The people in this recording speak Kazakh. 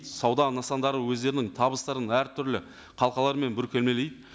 сауда нысандары өздерінің табыстарын әртүрлі қалқалармен бүркемелейді